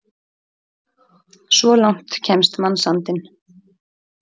Svo langt kemst mannsandinn!